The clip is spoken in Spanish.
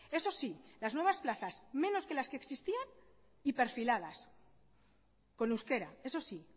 eso sí las nuevas plazas menos de las que existían y perfiladas con euskera eso sí